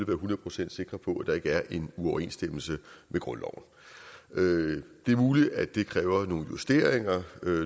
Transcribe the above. være hundrede procent sikre på at der ikke er en uoverensstemmelse med grundloven det er muligt at det kræver nogle justeringer